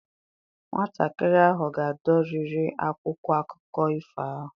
Nwatakịrị ahụ ga-adọri akwụkwọ akụkọ ifo ahụ